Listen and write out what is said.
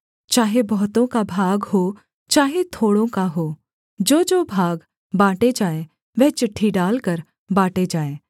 चाहे बहुतों का भाग हो चाहे थोड़ों का हो जोजो भाग बाँटे जाएँ वह चिट्ठी डालकर बाँटे जाएँ